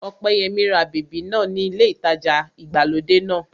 Ọpẹ́yẹmí ra bèbí náà ní ilé ìtajà ìgbàlódé náà